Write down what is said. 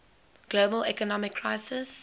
global economic crisis